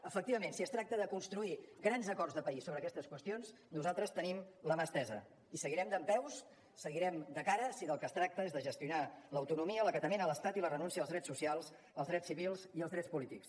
efectivament si es tracta de construir grans acords de país sobre aquestes qüestions nosaltres tenim la mà estesa i seguirem dempeus seguirem de cara si del que es tracta és de gestionar l’autonomia l’acatament a l’estat i la renúncia als drets socials els drets civils i els drets polítics